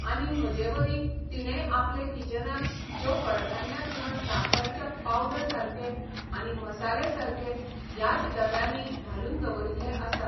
आनी म्हजेवरी तिणेंय आपले किचनांत ज्यो कडधान्यां किंवां साखर च्या पावडर सारके आनी मसाले सारके ह्याच डब्यांनी घालून दवरिल्ले आसात